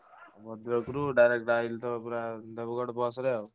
ଭଦ୍ରକ ରୁ direct ବାହାରିଲି ତ ପୁରା ଦେବଗଡ଼ ବସରେ।